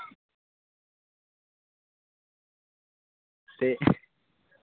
ਤੇ